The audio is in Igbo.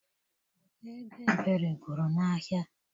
Ego Ebere gwụrụ n'ahịa.